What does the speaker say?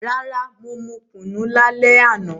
Rara, mo mu kunu lale ana.